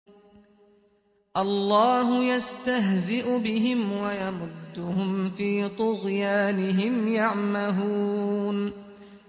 اللَّهُ يَسْتَهْزِئُ بِهِمْ وَيَمُدُّهُمْ فِي طُغْيَانِهِمْ يَعْمَهُونَ